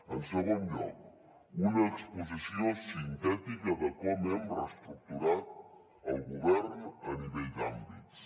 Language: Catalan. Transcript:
en segon lloc una exposició sintètica de com hem reestructurat el govern a nivell d’àmbits